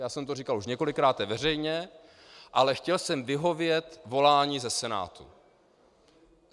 Já jsem to říkal už několikrát veřejně, ale chtěl jsem vyhovět volání ze Senátu.